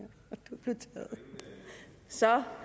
a og så